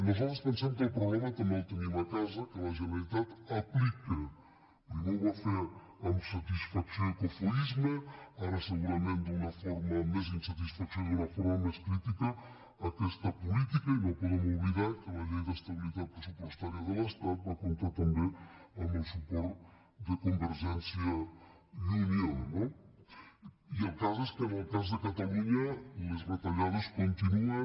nosaltres pensem que el problema també el tenim a casa que la generalitat aplica primer ho va fer amb satisfacció i cofoisme ara segurament d’una forma més d’insatisfacció i d’una forma més crítica aquesta política i no podem oblidar que la llei d’estabilitat pressupostària de l’estat va comptar també amb el suport de convergència i unió no i el cas és que en el cas de catalunya les retallades continuen